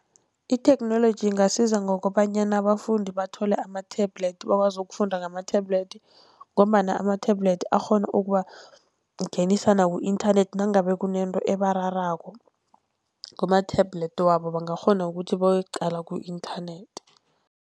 Itheknoloji ingasiza ngokobanyana abafundi bathole ama-tablet bakwazi ukufunda ngama-tablet, ngombana ama-tablet akghona ukubangenisa naku-internet nangabe kunento ebararako, kuma-tablet wabo bangakghona ukuthi bayoyiqala ku-internet.